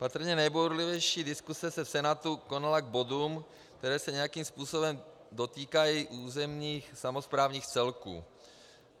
Patrně nejbouřlivější diskuse se v Senátu konala k bodům, které se nějakým způsobem dotýkají územních samosprávných celků.